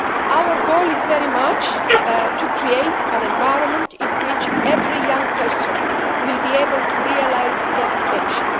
Our goal is very much to create an environment in which every young person will be able to realise their potential.